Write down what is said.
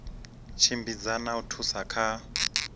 tshimbidza na u thusa kha